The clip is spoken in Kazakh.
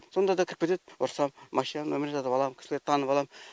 сонда да кіріп кетет ұрысам машинаның нөмірлерін жазып алам кісілерді танып алам